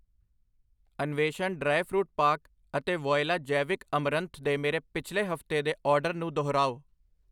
Anveshan dry fruit ਪਾਕ ਅਤੇ Voila ਜੈਵਿਕ ਅਮਰੰਥ ਦੇ ਮੇਰੇ ਪਿਛਲੇ ਹਫਤੇ ਦੇ ਆਰਡਰ ਨੂੰ ਦੁਹਰਾਓ।